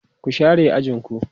ku share ajinku!